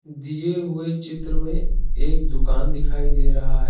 दिए हुए चित्र में एक दुकान दिखाई दे रहा है।